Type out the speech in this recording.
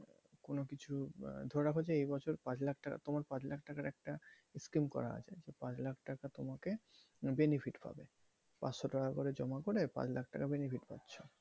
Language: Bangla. কোনোকিছু ধরে রাখো যে এই বছর পাঁচ লাখ টাকা তোমার পাঁচ লাখ টাকার একটা scheme করা আছে সেই পাঁচ লাখ টাকা তোমাকে benefit পাবে পাঁচশো টাকা করে জমা করে পাঁচ লাখ টাকা করে benefit পাচ্ছে।